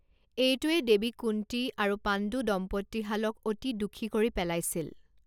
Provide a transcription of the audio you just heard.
এইটোৱে দেৱী কুন্তী আৰু পাণ্ডু দম্পতীহালক অতি দুখী কৰি পেলাইছিল।